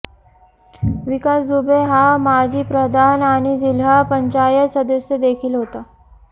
विकास दुबे हा माजी प्रधान आणि जिल्हा पंचायत सदस्य देखील होता